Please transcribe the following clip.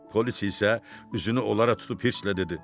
Polis isə üzünü onlara tutub hirlə dedi: